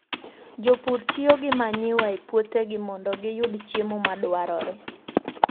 Jopur tiyo gi manyiwa e puothegi mondo giyud chiemo madwarore.